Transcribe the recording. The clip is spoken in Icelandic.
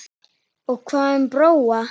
Og hvað um Bróa?